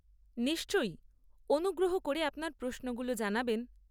নিশ্চয়ই, অনুগ্রহ করে আপনার প্রশ্নগুলো জানাবেন।